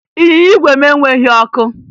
Ịnyịnya igwe m enweghi ọkụ